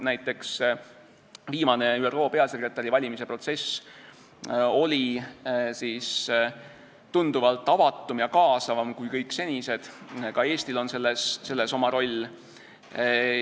Näiteks oli viimane ÜRO peasekretäri valimise protsess tunduvalt avatum ja kaasavam kui kõik senised ja ka Eestil on selles olnud oma roll.